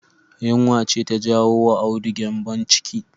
Yunwa ce ta jawo wa Audu gyanbon ciki